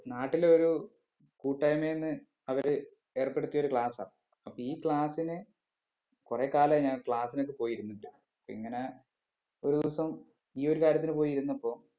നാട്ടിലൊരു കൂട്ടായിമയിന്ന് അവര് ഏർപ്പെടിത്തിയൊരു class ആ അപ്പീ class നെ കൊറേ കാലായി ഞാൻ class നൊക്കെ പോയി ഇരുന്നിട്ട് ഇങ്ങനെ ഒരു ദിവസം ഈയൊര് കാര്യത്തിന് പോയി ഇരുന്നപ്പോ